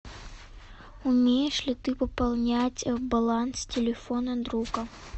умеешь ли ты пополнять баланс телефона друга